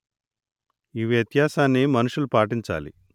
ఆ వ్యత్యాసాన్ని మనుషులు పాటించాలి